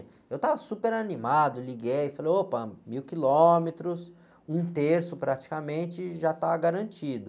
Eu estava super animado, liguei e falei, opa, mil quilômetros, um terço praticamente já está garantido.